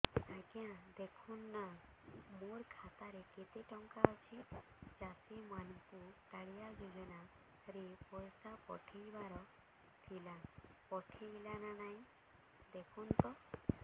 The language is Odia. ଆଜ୍ଞା ଦେଖୁନ ନା ମୋର ଖାତାରେ କେତେ ଟଙ୍କା ଅଛି ଚାଷୀ ମାନଙ୍କୁ କାଳିଆ ଯୁଜୁନା ରେ ପଇସା ପଠେଇବାର ଥିଲା ପଠେଇଲା ନା ନାଇଁ ଦେଖୁନ ତ